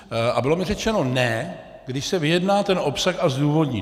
A bylo mi řečeno ne, když se vyjedná ten obsah a zdůvodní.